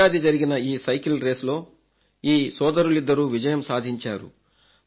ఈ ఏడాది జరిగిన ఈ సైకిల్ రేస్లో ఈ సోదరులిద్దరూ విజయం సాధించారు